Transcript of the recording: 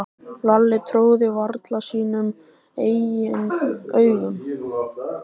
Lalli trúði varla sínum eigin augum.